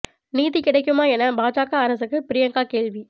நீதி கிடைக்குமா என பாஜக அரசுக்கு பிரியங்கா கேள்வி